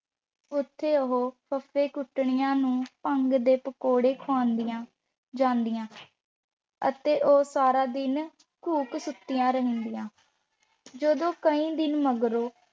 ਉੱਥੇ ਉਹ ਫੱਫੇ-ਕੁੱਟਣੀਆਂ ਨੂੰ ਭੰਗ ਦੇ ਪਕੌੜੇ ਖੁਆਉਂਦੀਆਂ ਜਾਂਦੀਆਂ ਅਤੇ ਉਹ ਸਾਰਾ ਦਿਨ ਘੂਕ ਸੁੱਤੀਆ ਰਹਿੰਦੀਆਂ। ਜਦੋਂ ਕਈ ਦਿਨ ਮਗਰੋਂ